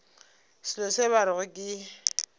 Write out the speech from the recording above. selo se ba rego ke